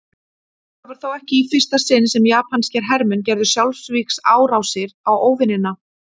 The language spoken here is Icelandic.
Þetta var þó ekki í fyrsta sinn sem japanskir hermenn gerðu sjálfsvígsárásir á óvinina.